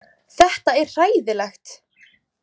Þetta er hræðilegt.